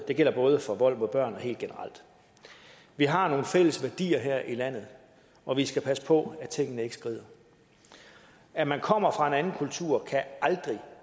det gælder både for vold mod børn og helt generelt vi har nogle fælles værdier her i landet og vi skal passe på at tingene ikke skrider at man kommer fra en anden kultur kan aldrig